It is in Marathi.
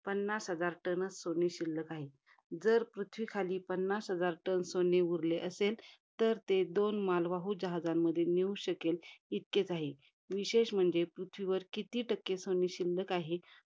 पन्नास हजार टनच सोने शिल्लक आहे. जर पृथ्वीखाली पन्नास हजार टन सोने उरले असेल, तर ते दोन मालवाहू जहाजांमध्ये नेऊ शकेल, इतकेच आहे. विशेष म्हणजे, पृथ्वीवर किती टक्के सोने शिल्लक आहे